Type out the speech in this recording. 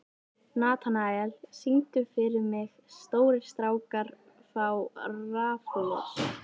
Natanael, syngdu fyrir mig „Stórir strákar fá raflost“.